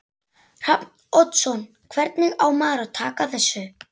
Hrafn Oddsson Hvernig á maður að taka þessu?